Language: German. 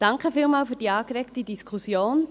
Vielen Dank für die angeregte Diskussion.